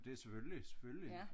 Det selvfølgelig selvfølgelig